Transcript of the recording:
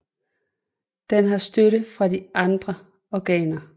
Den har støtte fra de andre organer